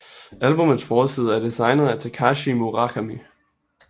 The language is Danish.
Albummets forside er designet af Takashi Murakami